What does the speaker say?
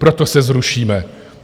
Proto se zrušíme.